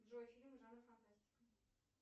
джой фильмы жанра фантастика